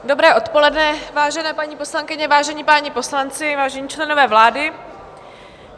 Dobré odpoledne, vážené paní poslankyně, vážení páni poslanci, vážení členové vlády.